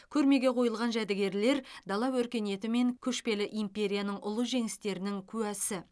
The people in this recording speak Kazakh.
көрмеге қойылған жәдігерлер дала өркениеті мен көшпелі империяның ұлы жеңістерінің куәсі